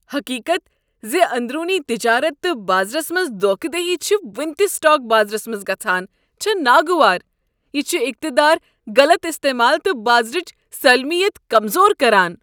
حقیقت ز اندرونی تجارت تہٕ بازرس منٛز دوکھٕ دہی چھ ونہٕ تہٕ سٹاک بازرس منٛز گژھان چھےٚ ناگوار۔ یہ چھ اقتدارک غلط استعمال تہٕ بازرٕچ سالمیت کمزور کران۔